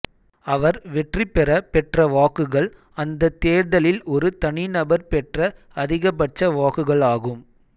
அவர் வெற்றி பெற பெற்ற வாக்குகள் அந்த தேர்தலில் ஒரு தனிநபர் பெற்ற அதிகபட்ச வாக்குகளாகும்